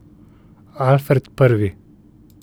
Alfred Prvi.